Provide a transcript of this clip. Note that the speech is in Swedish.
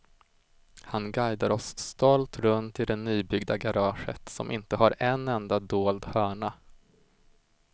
Han guidar oss stolt runt i det nybyggda garaget som inte har en enda dold hörna.